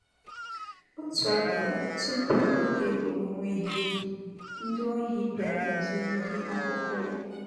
Otu abalị tupu oge owuwe ihe ubi, ndị ohi bịara zuru ịhe akụkụ ya.